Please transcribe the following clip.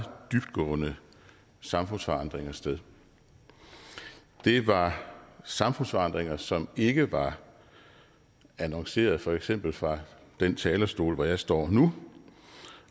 dybtgående samfundsforandringer sted det var samfundsforandringer som ikke var annonceret for eksempel fra den talerstol hvor jeg står nu